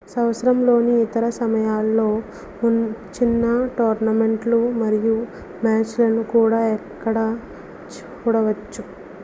సంవత్సరంలోని ఇతర సమయాల్లో చిన్న టోర్నమెంట్ లు మరియు మ్యాచ్ లను కూడా ఇక్కడ చూడవచ్చు